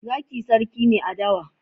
Zaki sarki ne a dawa.